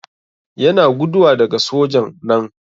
Yana guduwa daga soja'n nan.